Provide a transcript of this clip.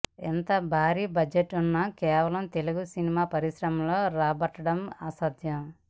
ఇంత భారీ బడ్జెట్ను కేవలం తెలుగు సినిమా పరిశ్రమలో రాబట్టడం అసాధ్యం